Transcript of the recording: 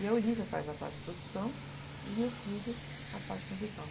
E a Olivia faz a parte de produção e meu filho a parte musical.